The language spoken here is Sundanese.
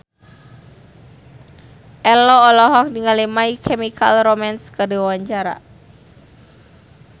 Ello olohok ningali My Chemical Romance keur diwawancara